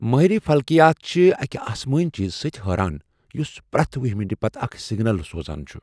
ماہر فلکیات چھ اکہ اسمٲنۍ چیٖزٕ سۭتۍ حٲران یُس پرٛٮ۪تھ وُہہہِ منٹہ اکھ سگنل سوزان چُھ۔